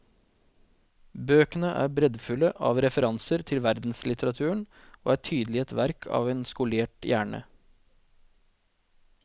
Bøkene er breddfulle av referanser til verdenslitteraturen og er tydelig et verk av en skolert hjerne.